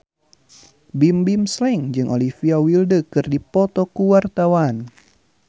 Bimbim Slank jeung Olivia Wilde keur dipoto ku wartawan